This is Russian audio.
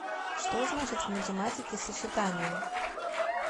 что значит в математике сочетание